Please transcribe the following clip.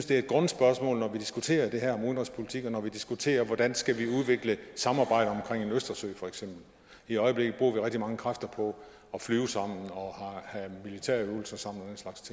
det er et grundspørgsmål når vi diskuterer det her om udenrigspolitik og når vi diskuterer hvordan vi skal udvikle samarbejdet omkring østersøen for eksempel i øjeblikket bruger vi rigtig mange kræfter på at flyve sammen og have militærøvelser sammen